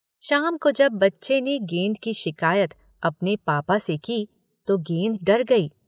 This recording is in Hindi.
शाम को जब बच्चे ने गेंद की शिकायत अपने पापा से की तो गेंद डर गई।